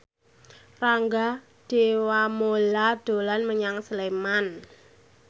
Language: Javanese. Rangga Dewamoela dolan menyang Sleman